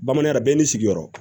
Bamanankan na bɛɛ n'i sigiyɔrɔ